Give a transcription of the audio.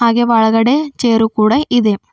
ಹಾಗೆ ಒಳಗಡೆ ಚೇರು ಕೂಡ ಇದೆ.